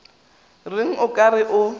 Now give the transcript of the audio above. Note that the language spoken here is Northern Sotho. reng o ka re o